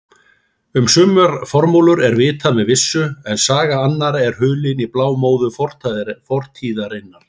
Um sumar formúlur er vitað með vissu en saga annarra er hulin í blámóðu fortíðarinnar.